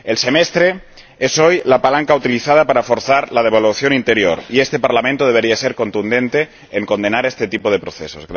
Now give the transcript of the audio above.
El Semestre es hoy la palanca utilizada para forzar la devaluación interior y este Parlamento debería ser contundente en condenar este tipo de procesos.